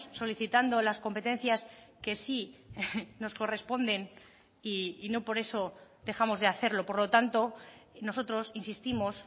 solicitando las competencias que sí nos corresponden y no por eso dejamos de hacerlo por lo tanto nosotros insistimos